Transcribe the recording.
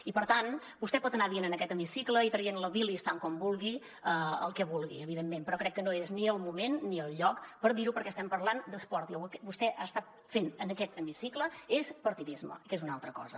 i per tant vostè pot anar dient en aquest hemicicle i traient la bilis tant com vulgui el que vulgui evidentment però crec que no és ni el moment ni el lloc per dir ho perquè estem parlant d’esport i el que vostè ha estat fent en aquest hemicicle és partidisme que és una altra cosa